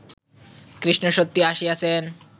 কৃষ্ণ সত্যই আসিয়াছেন